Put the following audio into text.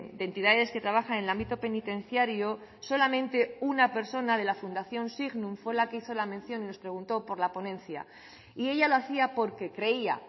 de entidades que trabajan en el ámbito penitenciario solamente una persona de la fundación signum fue la que hizo la mención y nos preguntó por la ponencia y ella lo hacía porque creía